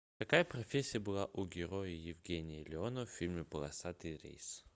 какая профессия была у героя евгения леонова в фильме полосатый рейс